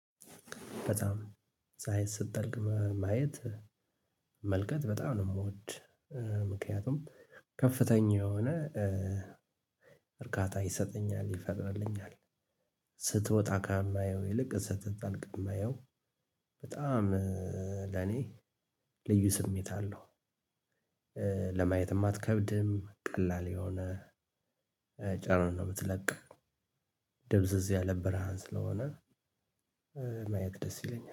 በጣም ፀሀይ ስትጠልቅ ማየት መመልከት በጣም ነው የምወድ። ምክንያቱም ከፍተኛ የሆነ እርካታ ይሰጠኛል ይፈጥርልኛል። ስትወጣ ከማየው ይልቅ ስትጠልቅ እማየው በጣም ለኔ ልዩ ስሜት አለው። ለማየትም አትከብድም ቀላል የሆነ ጨረር ነው ምትለቀው። ድብዝዝ ያለ ብርሃን ስለሆነ ማየት ደስ ይለኛል